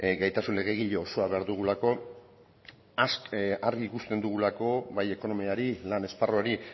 gaitasun legegile osoa behar dugulako argi ikusten dugulako bai ekonomiari lan esparruari